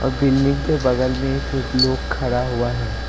Building के बगल में एक लोग खड़ा हुआ है।